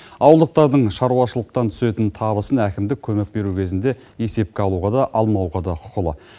ауылдықтардың шаруашылықтан түсетін табысын әкімдік көмек беру кезінде есепке алуға да алмауға да құқылы